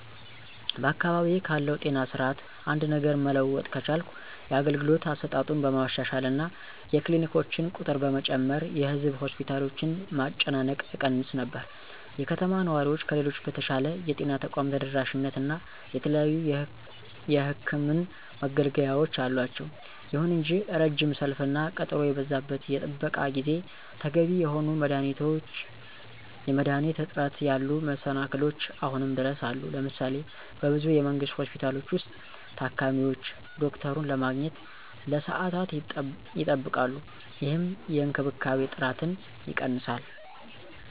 በአካባቢዬ ካለው ጤና ስርዓት አንድ ነገር መለወጥ ከቻልኩ የአገልግሎት አሰጣጡን በማሻሻል እና የክሊኒኮችን ቁጥር በመጨመር የህዝብ ሆስፒታሎችን መጨናነቅ እቀንስ ነበር። የከተማ ነዋሪዎች ከሌሎች በተሻለ የጤና ተቋም ተደራሽነት እና የተለያዩ የሕክምን መገልገያወች አላቸው። ይሁን እንጂ ረጅም ሰልፍ እና ቀጠሮ የበዛበት የጥበቃ ጊዜ፣ ተገቢ የሆኑ የመድኃኒት እጥረት ያሉ መሰላክሎች አሁንም ድረስ አሉ። ለምሳሌ:- በብዙ የመንግስት ሆስፒታሎች ውስጥ, ታካሚዎች ዶክተሩን ለማግኘት ለሰዓታት ይጠብቃሉ, ይህም የእንክብካቤ ጥራትን ይቀንሳል።